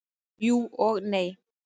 Jú, og nei.